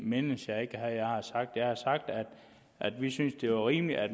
mindes jeg ikke at jeg har sagt det jeg har sagt at vi synes det er rimeligt at